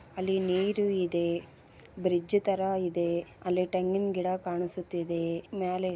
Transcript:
ಅಲ್ಲಿ ನೀರು ಇದೆ ಬ್ರಿಡ್ಜ್ ತರ ಇದೆ ಅಲ್ಲಿ ತೆಂಗಿನ್ ಗಿಡ ಕಾಣಿಸುತ್ತಿದೆ ಮ್ಯಾಲೆ --